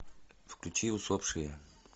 включи усопшие